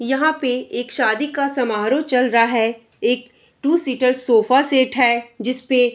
यहाँ पे एक शादी का समाहरो चल रहा है। एक टू सीटर सोफा सेट है जिसपे --